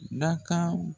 Dakan